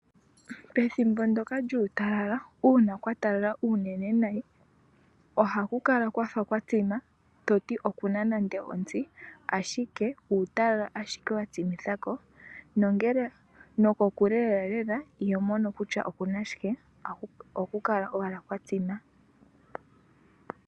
Pethimbo ndoka lyuutalala uuna kwatala unene nayi ohakukala kwafa kwatsima toti okuna nande omutsi ashike uutalala ashike watsimithako nongele nokokule lela lela ihomono kutya okuna shike ohakukala owala kwatsima.